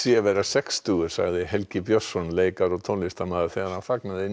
að vera sextugur þetta sagði Helgi Björnsson leikari og tónlistarmaður þegar hann fagnaði